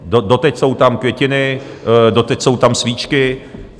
Doteď jsou tam květiny, doteď jsou tam svíčky.